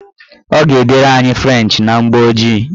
Ọ ga-edere anyị frenchị na mgbooji